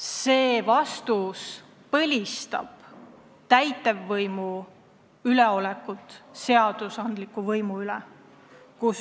See vastus põlistab täitevvõimu üleolekut seadusandliku võimu üle.